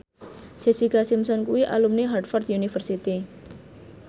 Jessica Simpson kuwi alumni Harvard university